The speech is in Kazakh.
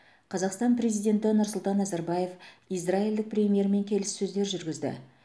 қазақстан президенті нұрсұлтан назарбаев израильдік премьермен келіссөздер жүргізді